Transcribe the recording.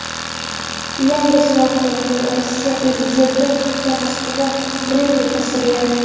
Yangi smartfonda Rossiya prezidenti hamda Moskva Kremli tasvirlangan.